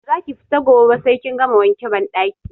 Ba za ki fita gobe ba sai kin gama wanke banɗaki!